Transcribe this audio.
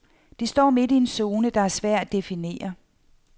De står midt i en zone, der er svær at definere.